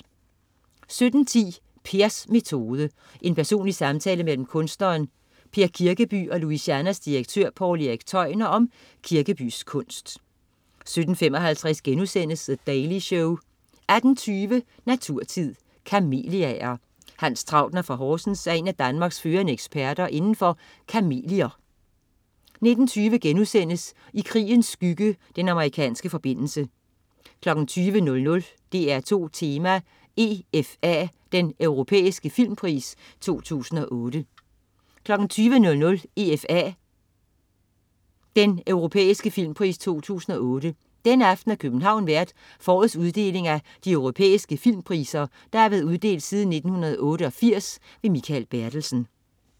17.10 Pers metode. Personlig samtale mellem kunstneren Per Kirkeby og Louisianas direktør, Poul Erik Tøjner om Kirkebys kunst 17.55 The Daily Show* 18.20 Naturtid. Kameliaer. Hans Trautner fra Horsens er en af Danmarks førende eksperter indenfor kamelier 19.20 I krigens skygge. Den amerikanske forbindelse* 20.00 DR2 Tema: EFA, Den europæiske filmpris 2008 20.00 EFA. Den europæiske filmpris 2008. Denne aften er København vært for årets uddeling af de europæiske filmpriser, der har været uddelt siden 1988. Mikael Bertelsen